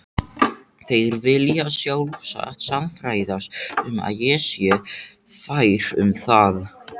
Þeir vilja sjálfsagt sannfærast um að ég sé fær um það.